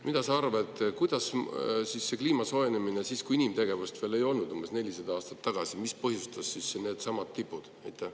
Mis sa arvad, mis võis põhjustada neidsamu tippe siis, kui inimtegevust veel ei olnud, umbes 400 aastat tagasi?